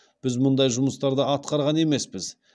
біз мұндай жұмыстарды атқарған емеспіз